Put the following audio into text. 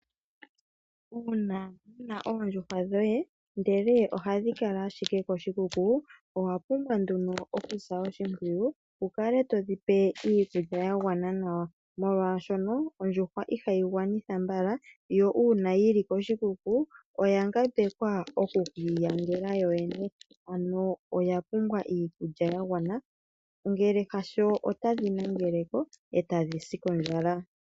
Uuna wuna oondjuhwa dhoye ndele ohadhi kala ashike koshikuku, owapumbwa nduno okusa oshimpwiyu wukale todhipe iikulya yagwana nawa, molwashono ondjuhwa ihayi gwanitha mbala. yo uuna yili koshikuku oya ngambekwa oku kiinyangela yoyene ano oya pumbwa iikulya ya gwana ngele hasho ota dhi nangeleko eta dhisi kondjala.